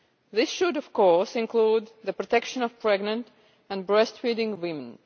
This should, of course, include the protection of pregnant and breastfeeding women.